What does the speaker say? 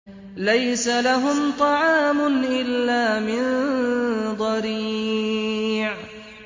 لَّيْسَ لَهُمْ طَعَامٌ إِلَّا مِن ضَرِيعٍ